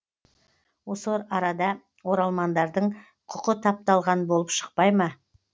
осы арада оралмандардың құқы тапталған болып шықпай ма